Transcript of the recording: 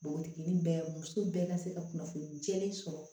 Npogotiginin bɛɛ musow bɛɛ ka se ka kunnafoni jɛlen sɔrɔ